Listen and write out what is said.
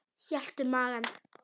Hélt um magann.